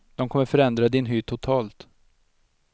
De kommer förändra din hy totalt.